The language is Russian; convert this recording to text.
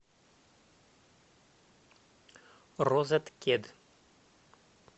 розеткед